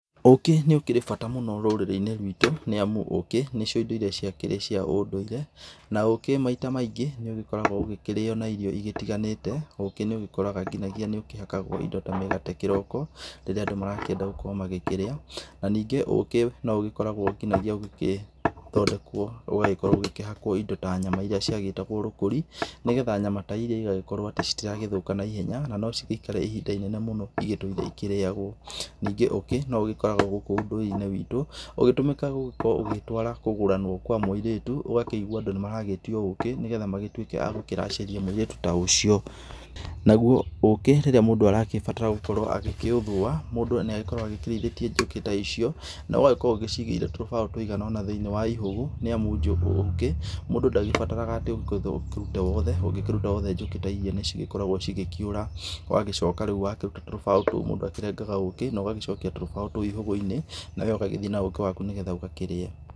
Ũkĩ nĩ ũkĩrĩ bata mũno rũrĩrĩ-inĩ rwitũ nĩ amu ũkĩ nĩcio indo irĩa ciakĩrĩ cia ũndũire. Na ũkĩ maita maingĩ nĩ ũgĩkoragwo ũgĩkĩrĩo na irio igitiganĩte. Ũkĩ nĩ ũgĩkoraga nginyagia nĩ ũkĩhakagwo indo ta mĩgate kĩroko, rĩrĩa andũ marakĩenda gũkorwo magĩkĩrĩa. Na ningĩ ũkĩ no ũgĩkoragwo nginyagia ũgĩgĩthondekwo ũgagĩkorwo ũgĩkĩhakwo ta nyama irĩa ciegĩtagwo rũkũri nĩgetha nyama ta irĩa ĩgagĩkorwo atĩ itiragĩthũka naihenya na no cigĩikare ihinda inene mũno igĩtũire igĩkĩrĩagwo. Ningĩ ũkĩ no ũgĩkoragwo gũkũ ũndũire-inĩ witũ, ũgĩtũmĩka gũgĩkorwo ũgĩtwara kũgũranwo kwa mũirĩtu. Ũgakĩigua andũ nĩ maragĩtio ũkĩ nĩgetha magĩtuĩke a gũkĩracĩria mũirĩtu ta ucio. Naguo ũkĩ rĩrĩa mũndũ arakĩbatara gũkorwo agĩkĩũthũa, mũndũ nĩ agĩkoragwo agĩkĩrĩithĩtie njũkĩ ta icio, na ũgagĩkorwo ũgĩciigĩire tũrũbao tũigana ũna thĩinĩ wa ihũgũ, nĩ amu ũkĩ mũndũ ndagĩbataraga atĩ ũgũkĩũruta wothe, ũngĩkĩruta wothe njũkĩ ta irĩa nĩcigĩkoragwo cigĩkĩũra. Wagĩcoka rĩu wakĩruta tũrũbao tũu mũndũ akĩrengaga ũkĩ na ũgacokia tũrũbao tũu ihũgũ-inĩ nawe ũgagĩthiĩ na ũkĩ waku nĩgetha ũgakĩrĩe.